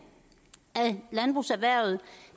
af landbrugserhvervet